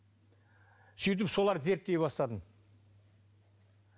сөйтіп соларды зерттей бастадым